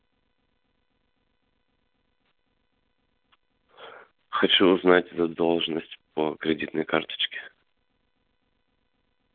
хочу узнать задолженность по кредитной карточке